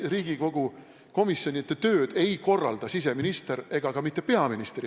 Riigikogu komisjonide tööd ei korralda siseminister ega isegi ka mitte peaminister.